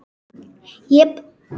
Ég bara.